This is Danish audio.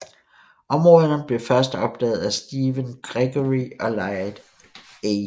Områderne blev først opdaget af Stephen Gregory og Laird A